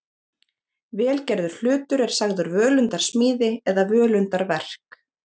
vel gerður hlutur er sagður völundarsmíði eða völundarverk